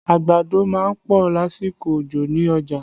Àgbàdo má ń pọ̀ lásìkò òjò ní ọjà